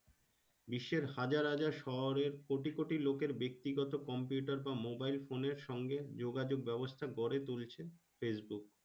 বিশ্বের হাজার হাজার শহরের কোটি কোটি লোকের ব্যাক্তি গত Computer বা Mobile phone এর সঙ্গে যোগাযোগ ব্যাবস্তা গড়ে তুলছে। Facebook